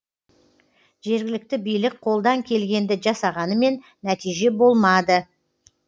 жергілікті билік қолдан келгенді жасағанымен нәтиже болмады